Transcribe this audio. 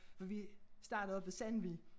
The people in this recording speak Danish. For vi startede oppe ved sandvig